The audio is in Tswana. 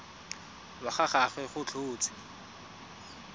wa ga gagwe go tlhotswe